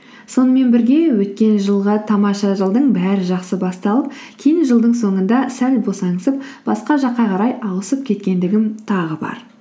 сонымен бірге өткен жылғы тамаша жылдың бәрі жақсы басталып кейін жылдың соңында сәл босаңсып басқа жаққа қарай ауысып кеткендігім тағы бар